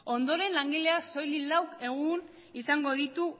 ondoren langileak soilik lau egun izango ditu